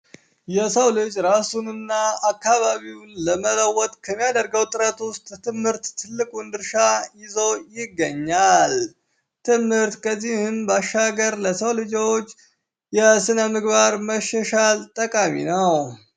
የሰው ልጅ ራሱን እና አካባቢውን ለመለወጥ ከሚያደርገው ጥረት ውስጥ ትምህርት ትልቁን ድርሻ ይዞ ይገኛል። ትምህርት ከዚህም ባሻገር ለሰው ልጆች የስነምግባር መሻሻል ጠቃሚ ነው።